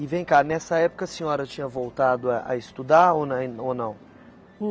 E vem cá, nessa época a senhora tinha voltado a a estudar ou na in ou não?